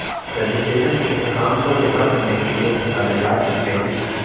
registration کے حکام کو جمع کرنے کے لئے دستاویزات کی فہرست